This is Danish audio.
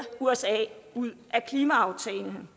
usa ud af klimaaftalen